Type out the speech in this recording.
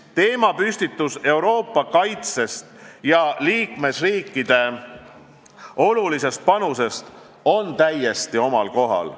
Teemapüstitus Euroopa kaitsest ja liikmesriikide olulisest panusest on täiesti omal kohal.